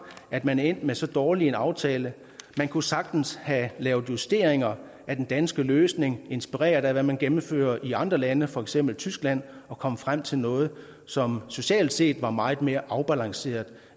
at man er endt med så dårlig en aftale man kunne sagtens have lavet justeringer af den danske løsning inspireret af hvad man gennemfører i andre lande for eksempel tyskland og være kommet frem til noget som socialt set var meget mere afbalanceret